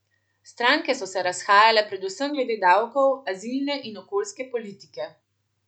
Stranke so se razhajale predvsem glede davkov, azilne in okoljske politike.